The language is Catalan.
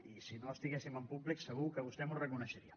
i si no estiguéssim en públic segur que vostè m’ho reconeixeria